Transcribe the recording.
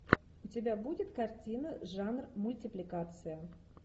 у тебя будет картина жанр мультипликация